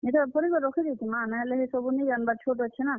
ଇଟା ଭରିକରି ରଖି ଦେଇଥିମା ନାହେଲେ, ହେ ସବୁ ନି ଜାନ୍ ବାର୍ ଛୋଟ୍ ଅଛେ ନା।